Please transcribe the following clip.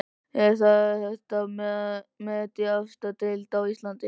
Er þetta met í efstu deild á Íslandi?